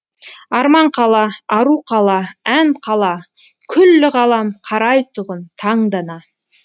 арман қала ару қала ән қала күллі ғалам қарайтұғын таңдана